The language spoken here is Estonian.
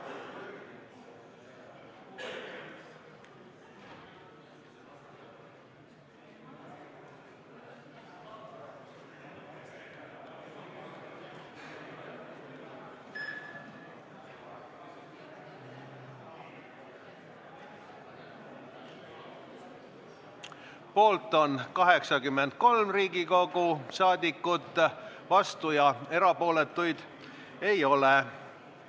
Hääletustulemused Poolt on 83 Riigikogu liiget, vastuolijaid ega erapooletuid ei ole.